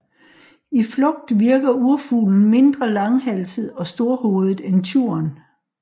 I flugt virker urfuglen mindre langhalset og storhovedet end tjuren